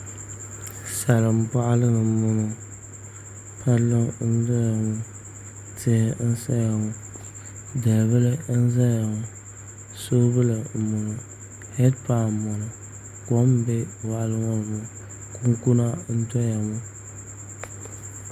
Salin boɣali ni n boŋo palli n doya ŋo tihi n saya ŋo dalibili n ʒɛya ŋo soobuli n boŋo heed pai n boŋo kom n bɛ moɣali ŋo ni ŋo kunkuna n doya ŋo